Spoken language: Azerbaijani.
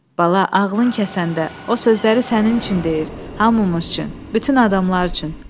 Bala, ağlın kəsəndə o sözləri sənin üçün deyir, hamımız üçün, bütün adamlar üçün.